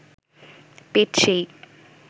পেট সেই